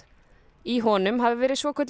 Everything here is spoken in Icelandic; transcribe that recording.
í honum hafi verið svokölluð